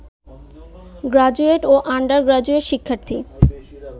graduate ও undergraduate শিক্ষার্থী